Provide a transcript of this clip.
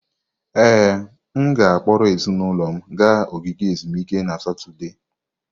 Ee, m ga-akpọrọ ezinụlọ m gaa ogige ezumike na Satọde.